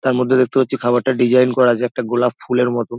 তার মধ্যে দেখতে পাচ্ছি খাবারটা ডিজাইন করা আছে একটা গোলাপ ফুলের মত।